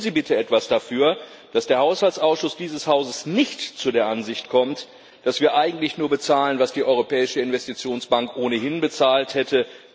Tun Sie bitte etwas dafür, dass der Haushaltsausschuss dieses Hauses nicht zu der Ansicht kommt, dass wir eigentlich nur bezahlen, was die Europäische Investitionsbank ohnehin bezahlt hätte.